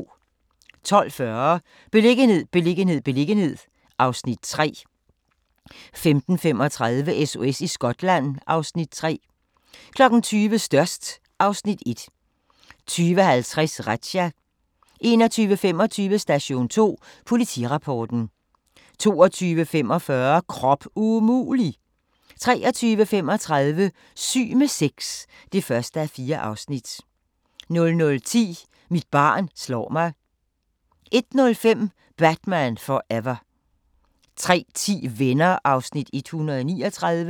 12:40: Beliggenhed, beliggenhed, beliggenhed (Afs. 3) 15:35: SOS i Skotland (Afs. 3) 20:00: Størst (Afs. 1) 20:50: Razzia 21:25: Station 2: Politirapporten 22:45: Krop umulig! 23:35: Syg med sex (1:4) 00:10: Mit barn slår mig 01:05: Batman Forever 03:10: Venner (139:235)